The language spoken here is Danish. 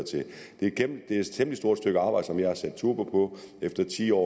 det er et temmelig stort stykke arbejde som jeg har sat turbo på efter ti år